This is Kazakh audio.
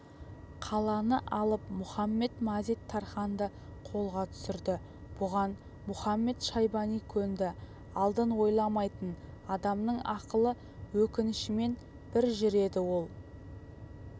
қаланы алып мұхамед-мазит-тарханды қолға түсірді бұған мұхамед-шайбани көнді алдын ойламайтын адамның ақылы өкінішімен бір жүреді ол